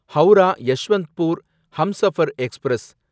Howrah Yesvantpur Humsafar express